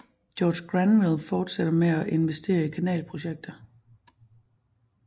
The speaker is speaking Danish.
George Granville fortsætte med at investere i kanalprojekter